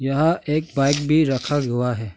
वहाँ एक बाइक भी रखा हुआ है।